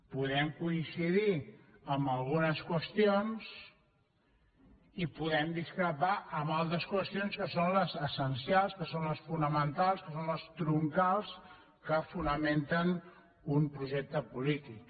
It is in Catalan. podem coincidir en algunes qüestions i podem discrepar en altres qüestions que són les essencials que són les fonamentals que són les troncals que fonamenten un projecte polític